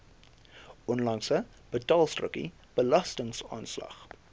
onlangse betaalstrokie belastingaanslag